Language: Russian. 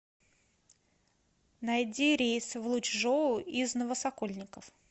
найди рейс в лучжоу из новосокольников